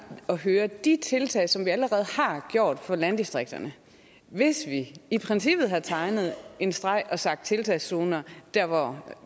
at høre de tiltag som vi allerede har gjort for landdistrikterne hvis vi i princippet havde tegnet en streg og sagt tiltagszoner dér hvor